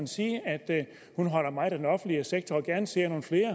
sige at hun holder meget af den offentlige sektor og gerne ser nogle flere